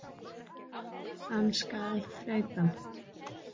Hann skal þrauka.